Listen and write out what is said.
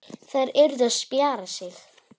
Þær yrðu að spjara sig.